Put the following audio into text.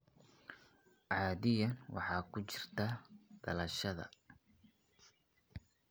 Caadiyan waxay ku jirtaa dhalashada (dhalasho).